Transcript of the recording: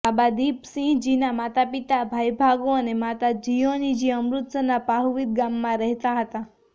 બાબા દીપસિંહ જીના માતાપિતા ભાઈ ભાગુ અને માતા જીયોની જી અમૃતસરના પાહુવિંદ ગામમાં રહેતા હતા